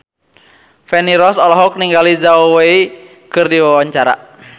Feni Rose olohok ningali Zhao Wei keur diwawancara